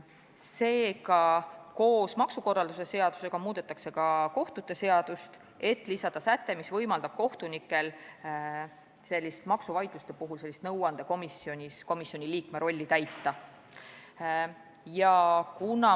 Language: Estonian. Seega muudetakse koos maksukorralduse seadusega ka kohtute seadust, et lisada säte, mis võimaldab kohtunikel maksuvaidluste puhul nõuandekomisjoni liikme rolli täita.